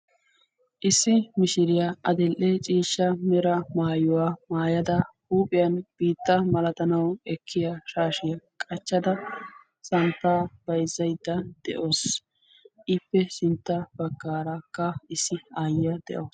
Issi mishiriyaa adel''e ciishsha mera maayuwaa maayada huuphiyan biitta malatanawu ekkiya shaashiyaa qachchada samppa bayzzaydda de'oos ippe sintta baggaarakka issi aayya de'oos